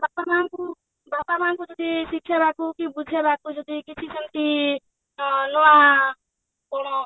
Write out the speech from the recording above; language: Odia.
ବାପା ମାଆଙ୍କୁ ବାପା ମାଆଙ୍କୁ ଯଦି ଶିଖେଇବାକୁ କି ବୁଝେଇବାକୁ ଯଦି କିଛି ସେମତି ଅ ନୂଆ କଣ